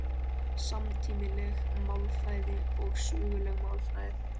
Samtímaleg málfræði og söguleg málfræði